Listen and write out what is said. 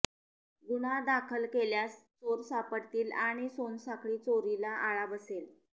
गुन्हा दाखल केल्यास चोर सापडतील आणि सोनसाखळी चोरीला आळा बसेल